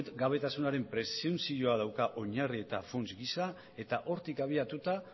errugabetasunaren presuntzioa dauka oinarri eta funts gisa eta hortik abiatuta